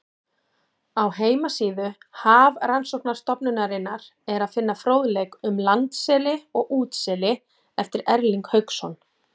Á heimasíðu Hafrannsóknastofnunarinnar er að finna fróðleik um landseli og útseli eftir Erling Hauksson.